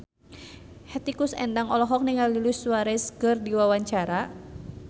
Hetty Koes Endang olohok ningali Luis Suarez keur diwawancara